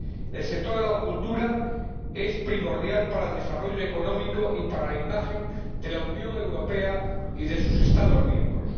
El sector de la cultura es primordial para el desarrollo económico y para la imagen de la Unión Europea y de sus Estados miembros